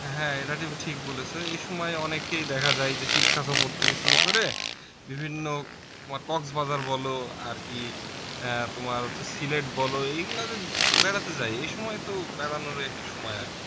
হ্যাঁ হ্যাঁ এটা তুমি ঠিক বলেছো এসময় অনেকেই দেখা যায় যে শিক্ষাসফর থেকে শুরু করে বিভিন্ন তোমার কক্সবাজার বলো আর কি আহ তোমার হচ্ছে সিলেট বলো এগুলাতে বেড়াতে যায় এসময় তো বেড়ানোরই একটি সময় আর কি